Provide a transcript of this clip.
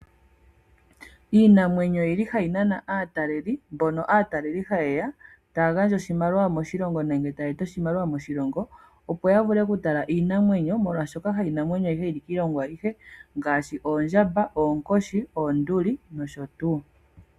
Iinamwenyo oyili hayi nana aataleli mbono aataleli hayeya taya gandja oshimaliwa moshilongo nenge taye eta oshimaliwa moshilongo opo yavule okutala iinamwenyo molwaashoka hayi namwenyo ayihe yili kiilongo ayihe ngaashi oondjamba ,oonkoshi ,oonduli nosho tuu.